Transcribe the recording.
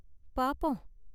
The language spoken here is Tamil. பாப்போம்.